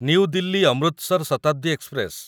new Delhi Amritsar Shatabdi express